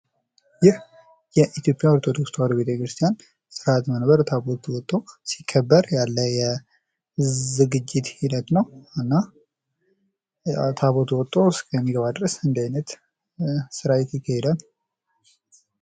ይህ የኢትዮጵያ ኦርቶዶክስ ተዋሕዶ ቤተክርስቲያን ስርአተ መንበር ታቦቱ ወጥቶ ሲከበር ያለ ዝግጅት ሂደት ነው። እና ታቦቱ ወጥቶ እስኪገባ ድረስ እንድህ አይነት ስርአት ይካሄዳል።